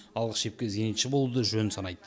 алғы шепке зенитші болуды жөн санайды